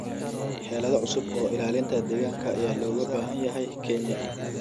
Xeelado cusub oo ilaalinta deegaanka ayaa looga baahan yahay Kenya.